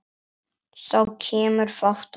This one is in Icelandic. Þá kemur fát á fólk.